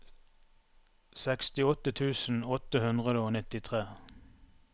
sekstiåtte tusen åtte hundre og nittitre